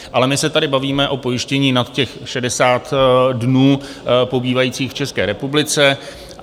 Ale my se tady bavíme o pojištění nad těch 60 dnů pobývajících v České republice.